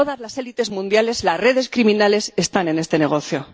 igual todas las élites mundiales, las redes criminales están en este negocio.